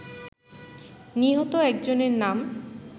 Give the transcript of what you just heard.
নিহত একজনের নাম